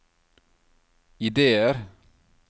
ideer